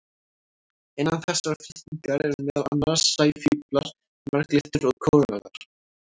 Innan þessarar fylkingar eru meðal annars sæfíflar, marglyttur og kórallar.